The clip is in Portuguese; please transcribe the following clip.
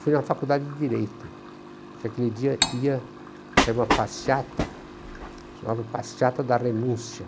Fui na faculdade de Direito, porque aquele dia ia sair uma passeata, chamava Passeata da Renúncia.